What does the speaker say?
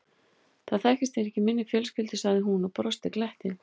Það þekkist ekki í minni fjölskyldu sagði hún og brosti gleitt.